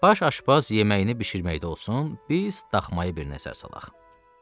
Baş aşbaz yeməyini bişirməyəcək olsun, biz daxmaya bir nəzər salaq.